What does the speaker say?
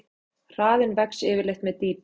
Hraðinn vex yfirleitt með dýpi.